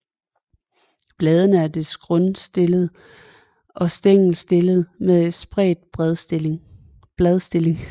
Bladene er dels grundstillede og stængelstillede med spredt bladstilling